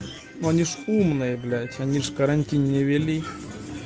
но они ж умные блять они ж карантин не ввели